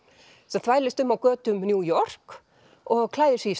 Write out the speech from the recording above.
sem þvælist um á götum New York og klæðir sig í